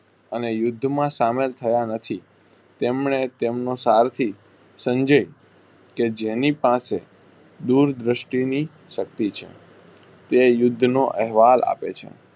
અને યુદ્ધમાં સામેલ થયા નથી તેમણે તેમનો સારથી સંજય કેજેની પાસે દૂર દ્રષ્ટિની શક્તી છે. તે યુદ્ધ નો અહેવાલ આપે છે.